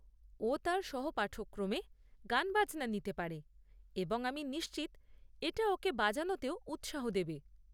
ও তার সহপাঠক্রমে গানবাজনা নিতে পারে এবং আমি নিশ্চিত এটা ওকে বাজানোতেও উৎসাহ দেবে।